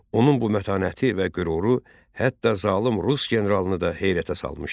Onun bu mətanəti və qüruru hətta zalım rus generalını da heyrətə salmışdı.